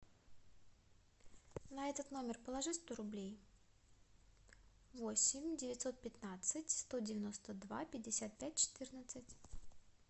на этот номер положи сто рублей восемь девятьсот пятнадцать сто девяносто два пятьдесят пять четырнадцать